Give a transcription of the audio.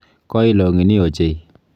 Koi long'ini ochei.